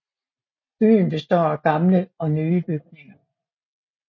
Byen består af gamle og nye bygninger